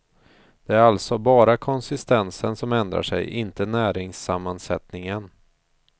Det är alltså bara konsistensen som ändrar sig, inte näringssammansättningen.